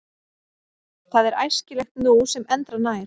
Það er æskilegt nú sem endranær.